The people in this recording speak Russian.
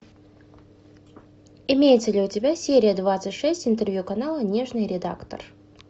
имеется ли у тебя серия двадцать шесть интервью канала нежный редактор